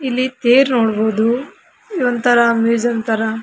ಇಲ್ಲಿ ತೇರ್ ನೋಡಬಹುದು ಒಂತರ ಮ್ಯೂಸಿಯಂ ತರ --